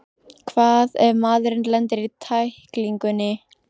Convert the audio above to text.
Hvað ef maðurinn lendir í tæklingunni?